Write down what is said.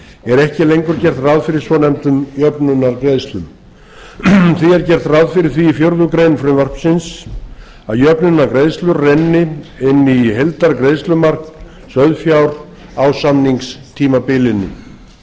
er ekki lengur gert ráð fyrir svonefndum jöfnunargreiðslum því er gert ráð fyrir því í fjórða grein frumvarpsins að jöfnunargreiðslur renni inn í heildargreiðslumark sauðfjár á samningstímabilinu